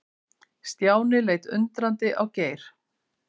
Stjáni leit undrandi á Geir.